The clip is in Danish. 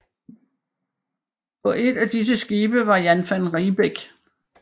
På et av disse skibe var Jan van Riebeeck